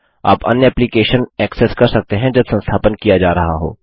आप अन्य application access कर सकते हैं जब संस्थापन किया जा रहा हो